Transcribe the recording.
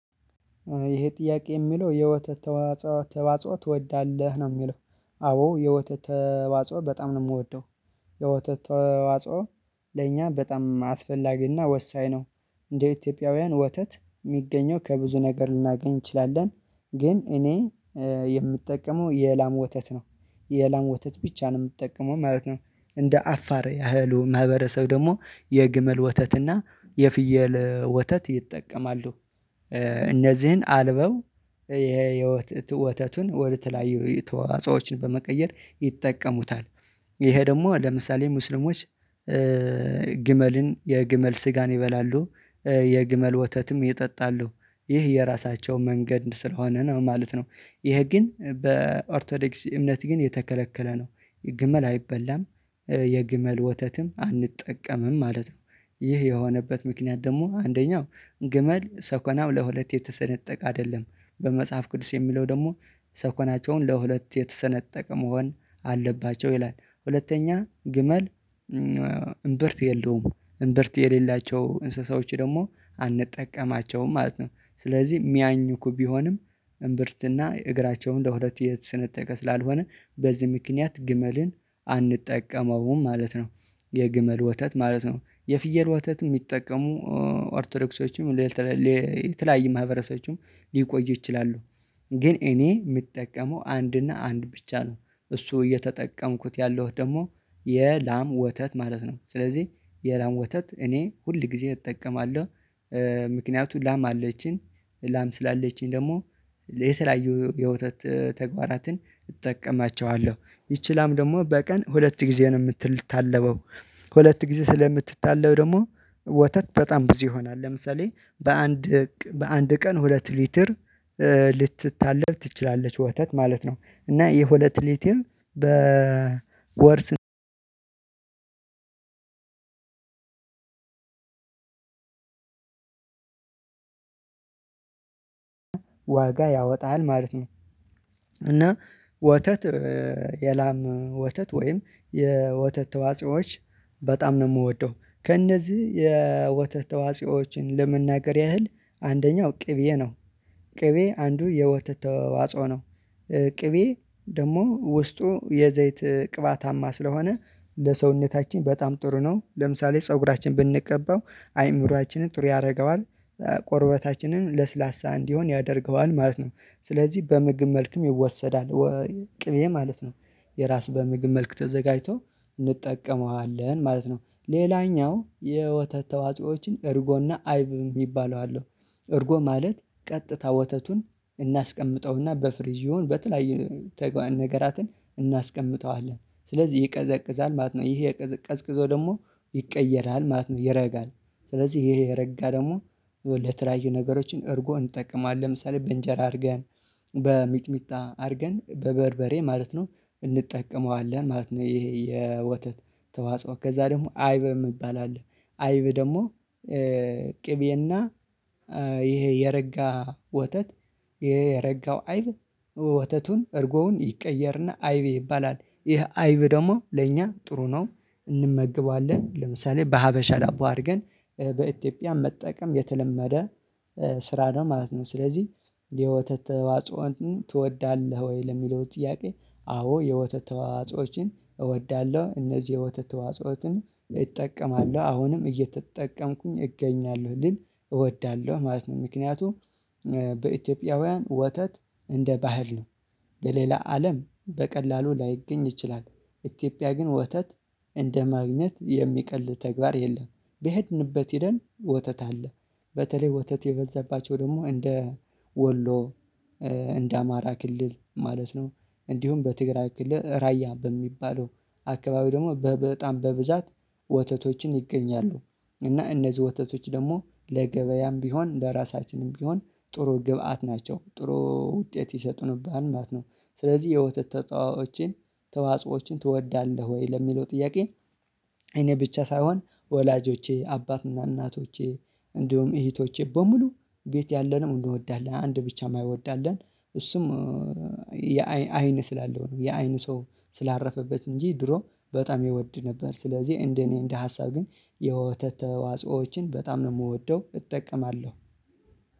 ይሄ ጥያቄ የሚለው የወተት ተዋጽኦ ተዋጽኦ ትወዳለህ ነው ሚለው? አዎ የወተት ተዋጽኦ በጣም ነው ምወደው የወተት ተዋጽኦ ለእኛ በጣም አስፈላጊና ወሳኝ ነው። እንደ ኢትዮጵያውያን ወተት ሚገኘው ከብዙ ነገር ልናገኝ እንችላለን ግን እኔ የምጠቀመው የላም ወተት ነው። የላም ወተት ብቻ ነው ምጠቀመው ማለት ነው። እንደ አፋር ያህሉ ማህበረሰብ ደሞ የግመል ወተትና የፍየል ወተት ይጠቀማሉ። እነዚህን አልበው የወተቱን ወደተለያየ ተዋጾዎችን በመቀየር ይጠቀሙታል። ይሄ ደሞ ለምሳሌ ሙስሊሞች ግመልን የግመል ስጋን ይበላሉ የግመል ወተትም ይጠጣሉ ይህ የራሳቸውን መንገድ ስለሆነ ነው ማለት ነው። ይህ ግን በኦርቶዶክስ እምነት ግን የተከለከለ ነው። ግመል አይበላም። የግመል ወተትም አንጠቀምም ማለት ነው። ይህ የሆነበት ምክንያት ደሞ አንደኛው ግመል ሰኮናው ለሁለት የተሰነጠቀ አደለም በመጽሐፍ ቅዱስ የሚለው ደሞ ሰኮናቸውን ለሁለት የተሰነጠቀ መሆን አለባቸው ይላል። ሁለተኛ ግመል እምብርት የለውም እምብርት የሌላቸው እንስሳዎች ደግሞ አንጠቀማቸውም ማለት ነው። ስለዚህ ሚያኝኩ ቢሆንም እምብርትና እግራቸውን ለሁለት የተስነጥቀ ስላልሆነ በዚህ ምክንያት ግመልን አንጠቀመውም ማለት ነው። የግመል ወተት ማለት ነው የፍየል ወተት ሚጠቀሙ ኦርቶዶክሶችም ለተለይ የተለያየ ማህበረሰቦችም ሊቆዩ ይችላሉ። ግን እኔ ምጠቀመው አንድ እና አንድ ብቻ ነው። እሱ እየተጠቀምኩት ያለሁት ደሞ የላም ወተት ማለት ነው። ስለዚህ የላም ወተት እኔ ሁል ግዜ እጠቀማለሁ። ምክንያቱ ላም አለችን። ላም ስላለችን ደሞ ለተለያዩ የውተት ተግባራትን እጠቀማቸዋለሁ ይቺን ላም ደግሞ በቀን ሁለት ጊዜ ነው ምትልታለበው ሁለት ጊዜ ስለምትታለብ ደሞ ወተት በጣም ብዙ ይሆናል። ለምሳሌ በአንድ በአንድ ቀን ሁለት ሊትር ልትታለብ ትችላለች ወተት ማለት ነው። እና የሁለት ሊትር በወር ዋጋ ያወጣል ማለት ነው። እና ወተት የላም ወተት ወይም የወተት ተዋጽኦዎች በጣም ነው ምወደው ከእነዚህ የወተት ተዋጽዮችን ለመናገር ያህል አንደኛው ቅቤ ነው። ቅቤ አንዱ የወተት ተዋጽኦ ነው። ቅቤ ደሞ ውስጡ የዘይት ቅባታማ ስለሆነ ለሰውነታችን በጣም ጥሩ ነው ለምሳሌ ፀጉራችን ብንቀባው አይምሮአችንን ጥሩ ያርገዋል። ቆርበታችንን ለስላሳ እንዲሆን ያደርገዋል ማለት ነው። ስለዚህ በምግብ መልክም ይወሰዳል። ቅቤ ማለት ነው የራስ በምግብ መልክ ተዘጋጅቶ እንጠቀመዋለን ማለት ነው። ሌላኛው የወተት ተዋጽኦዎችን እርጎና አይብ ሚባሉው አለው። እርጎ ማለት ቀጥታ ወተቱን እናስቀምጠውና በፍሪዝ ይሁን በተለያየ ነገራትን እናስቀምጠዋለን ስለዚህ ይቀዘቅዛል ማለት ነው። ይሄ ቀዝቅዞ ደሞ ይቀየራል ማለት ነው ይረጋል። ስለዚህ ይሄ የረጋ ደሞ ለተለያየ ነገሮችን እርጎ እንጠቅማለን ለምሳሌ በእንጀራ አርገን በሚጥሚጣ አርገን በበርበሬ ማለት ነው እንጠቀመዋለን ማለት ነው። ይሄ የወተት ተዋጽኦ ከዛ ደግሞ አይብ የምባል አለ። አይብ ደሞ ቅቤና ይሄ የረጋ ወተት የረጋው አይብ ወተቱን እርጎውን ይቀየርና አይቤ ይባላል ይህ አይብ ደግሞ ለእኛ ጥሩ ነው። እንመግባለን ለምሳሌ በሀበሻ ዳቦ አድርገን በኢትዮጵያ መጠቀም የተለመደ ስራ ነው ማለት ነው። ስለዚህ የወተት ተዋጽኦ እንትኑ ትወዳለህ ወይ ለሚለው ጥያቄ? አዎ የወተት ተዋዋጾዎችን እወዳለሁ እነዚህ የወተት ተዋጾችን እጠቀማለሁ አሁንም እየተጠቀምኩኝ እገኛለሁ ልል እወዳለሁ ማለት ነው። ምክንያቱም በኢትዮጵያውያን ወተት እንደ ባህል ነው። በሌላ አለም በቀላሉ ላይገኝ ይችላል። ኢትዮጵያ ግን ወተት እንደ ማግኘት የሚቀል ተግባር የለም። በሄድንበት ሄደን ወተት አለ። በተለይ ወተት የበዛባቸው ደግሞ እንደ ወሎ እንደ አማራ ክልል ማለት ነው። እንዲሁም በትግራይ ክልል ራያ በሚባለው አካባቢ ደሞ በ በጣም በብዛት ወተቶችን ይገኛሉ። እና እነዚህ ወተቶች ደሞ ለገበያም ቢሆን ለራሳችንም ቢሆን ጥሩ ግብአት ናቸው ጥሩ ውጤት ይሰጡንብሃል ማለት ነው። ስለዚህ የወተት ተጣኦችን ተዋጽኦዎችን ትወዳለህ ወይ ለሚለው ጥያቄ? እኔ ብቻ ሳይሆን ወላጆቼ አባትና እናቶቼ እንዲሁም እሂቶቼ በሙሉ ቤት ያለነው እንድወዳለን አንድ ብቻ ማይወድ አለ። እሱም የአይን አይን ስላለው ነው የአይን ሰው ስላረፈበት እንጂ ድሮ በጣም ይወድ ነበር። ስለዚህ እንደ እኔ እንደ ሀሳብ ግን የወተት ተዋጽኦዎችን በጣም ነው ምወደው እጠቀማለሁ።